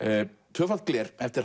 tvöfalt gler eftir